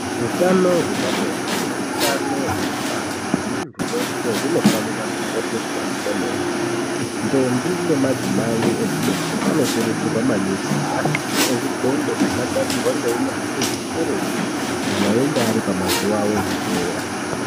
Utano hwepabonde neutano hwekubara hwemunhu weshe hunofanire kukosheswa kwemene ndombi nemadzimai echidoko anokurudzirwa maningi kuti ashandise zvidhende zvakagadzirwa ngeunyanzvi hukurutu kana einge aripamazuwa awo ekuteera.